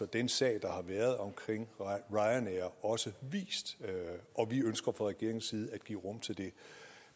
den sag der har været omkring ryanair også vist og vi ønsker fra regeringens side at give rum til det